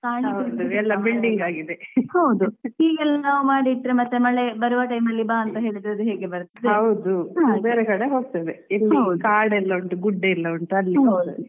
ಹೀಗೆಲ್ಲಾ ಮಾಡಿಟ್ರೆ ಮತ್ತೇ ಮಳೆ ಬರುವ time ಅಲ್ಲಿ ಬಾ ಅಂತ್ಹೇಳಿದ್ರೇ ಹೇಗೆ ಬರ್ತದೆ ?